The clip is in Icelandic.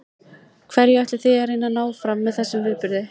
Hverju ætlið þið að reyna að ná fram með þessum viðburði?